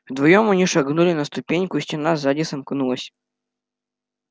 вдвоём они шагнули на ступеньку и стена сзади сомкнулась